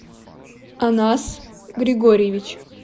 анас григорьевич